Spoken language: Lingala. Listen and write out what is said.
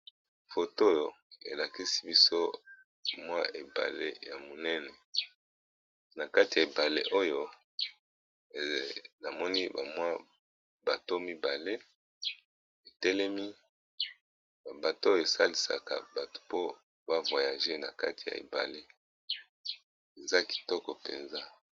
Foto oyo elakisi biso mwa ebale ya monene na kati ya ebale oyo namoni ba mwa bato mibale etelemi, ba bato oyo esalisaka batu po ba voyage na kati ya ebale eza kitoko mpenza.